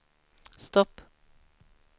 stopp